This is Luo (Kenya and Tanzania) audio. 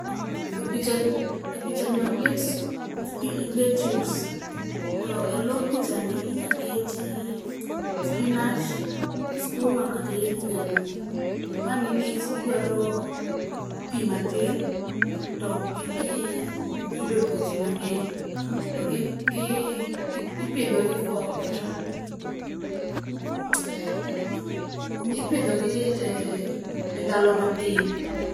E pichani oket lettuce to e lo pichani inya keti spinach, skuma kata yedhe nyaluo. Ma nikech gidwaro pi matin to ok gidhi yudo tuoche mang'eny. To ipidhogi e ndalo matin.